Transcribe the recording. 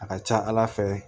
A ka ca ala fɛ